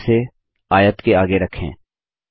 इसे बनाएँ और इसे आयत के आगे रखें